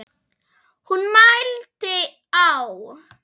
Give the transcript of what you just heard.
Hún mælti: Á